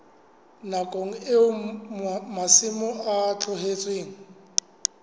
nakong eo masimo a tlohetsweng